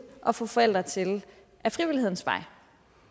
og få forældre til ad frivillighedens vej